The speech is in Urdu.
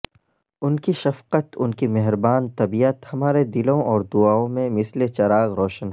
انکی شفقت انکی مہربان طبیعت ہمارے دلوں اور دعاوں میں مثل چراغ روشن ہے